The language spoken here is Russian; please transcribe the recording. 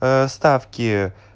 ээ ставки